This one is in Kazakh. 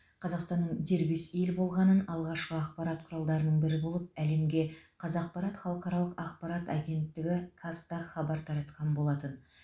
қазақстанның дербес ел болғанын алғашқы ақпарат құралдарының бірі болып әлемге қазақпарат халықаралық ақпарат агенттігі қазтаг хабар таратқан болатын